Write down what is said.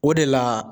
O de la